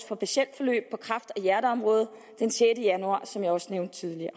for patientforløb på kræft og hjerteområdet den sjette januar sådan som jeg også nævnte tidligere